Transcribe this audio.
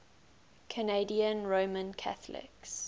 canadian roman catholics